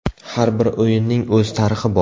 Har bir o‘yinning o‘z tarixi bor.